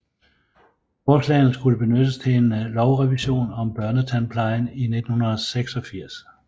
Forslagene skulle benyttes til en lovrevision om børnetandplejen i 1986